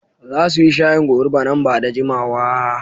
Za su yi shayin goruba nan ba da jimawa.